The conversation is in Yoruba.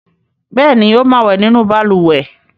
Bẹ́ẹ̀ ni, ó máa wẹ̀ nínú balùwẹ̀.